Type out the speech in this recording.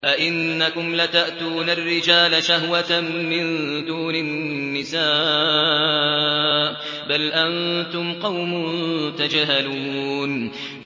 أَئِنَّكُمْ لَتَأْتُونَ الرِّجَالَ شَهْوَةً مِّن دُونِ النِّسَاءِ ۚ بَلْ أَنتُمْ قَوْمٌ تَجْهَلُونَ